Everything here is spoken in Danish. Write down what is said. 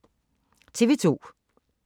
TV 2